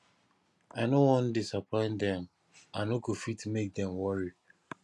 i no wan disappoint dem i no go fit make dem worry